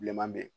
Bilenman bɛ yen